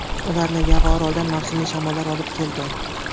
Ularni Yava orolidan mavsumiy shamollar olib kelgan.